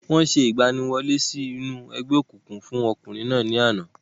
Wọ́n ṣe ìgbaniwọlé sí inú ẹgbẹ́ òkùnkùn fún ọkùnrin náà ní àná.